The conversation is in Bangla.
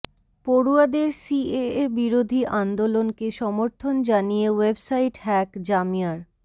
পড়ুয়াদের সিএএ বিরোধী আন্দোলনকে সমর্থন জানিয়ে ওয়েবসাইট হ্যাক জামিয়ার